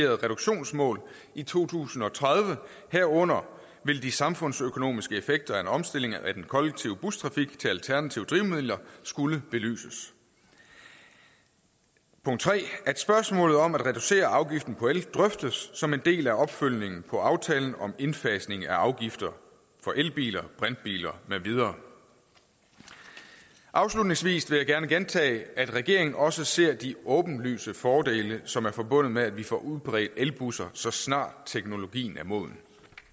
reduktionsmål i to tusind og tredive herunder vil de samfundsøkonomiske effekter af en omstilling af den kollektive bustrafik til alternative drivmidler skulle belyses og punkt tre at spørgsmålet om at reducere afgiften på el drøftes som en del af opfølgningen på aftalen om indfasning af afgifter for elbiler brintbiler med videre afslutningsvis vil jeg gerne gentage at regeringen også ser de åbenlyse fordele som er forbundet med at vi får udbredt elbusser så snart teknologien er moden